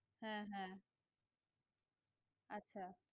হ্যাঁ হ্যাঁ আচ্ছা